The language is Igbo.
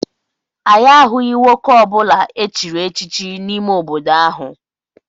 Anyị ahụghị nwoke ọ bụla echiri echichi n'ime obodo ahụ.